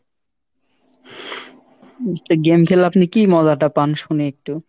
তো game খেলে আপনি কী মজাটা পান শুনি একটু?